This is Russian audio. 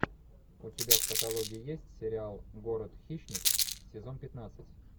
у тебя в каталоге есть сериал город хищниц сезон пятнадцать